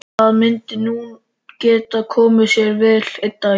Það myndi nú geta komið sér vel einn daginn.